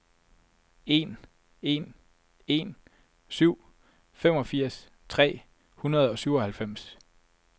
en en en syv femogfirs tre hundrede og syvoghalvfems